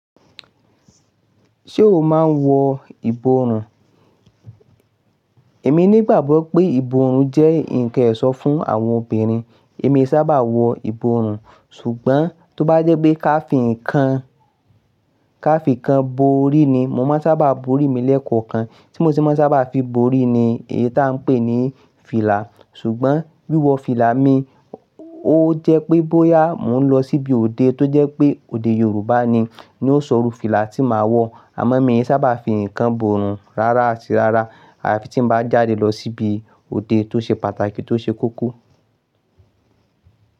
Ṣé o máa ń wọ ìborùn? Èmi ní gbàgbọ́ pé, ìbòrùn jẹ́ ǹkan ẹ̀ṣọ́ fún àwọn obìnrin. Èmi sábà wọ ìborùn ṣùgbọ́n tó bá jẹ́ pé ká fi ǹkan, ká fi ǹkan borí ni, mo máa n sábà borí mi lẹ́ẹ̀kọ̀kan. Tí mo sì máa sábà fi borí ni, èyí táa ń pè ní fìlà. Ṣùgbọ́n wíwọ fìlà mi, ó jẹ́ pé bóyá mò ń lọ síbi òde tó jẹ́ pé òde Yorùbá ni, ni ó sọrù fìlà tí màá wọ. Àmọ́ mi i sì sábà fi ǹkan borùn rárá àti rárá, àya fi tí mo bá jáde lọ síbi òde tó ṣe pàtàkì tó ṣe koko.